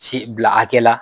Si bila hakɛ la